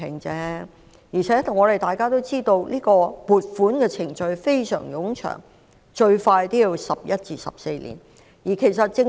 況且大家都知道，撥款程序需時甚長，至少橫跨11至14年。